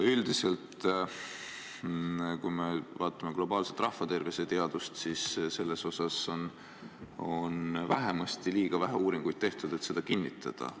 Üldiselt, kui me vaatame globaalset rahvaterviseteadust, siis selle kohta on liiga vähe uuringuid tehtud, et seda kinnitada.